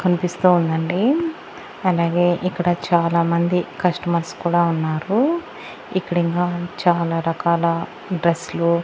కనిపిస్తూ ఉందండి అలాగే ఇక్కడ చాలా మంది కస్టమర్స్ కూడా ఉన్నారు ఇక్కడ ఇంకా చాలా రకాల డ్రెస్సులు .